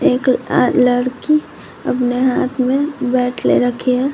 एक अह लड़की अपने हाथ में बैट ले रखी है।